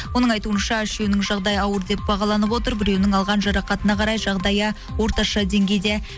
оның айтуынша үшеуінің жағдайы ауыр деп бағаланып отыр біреуінің алған жарақатына қарай жағдайы орташа деңгейде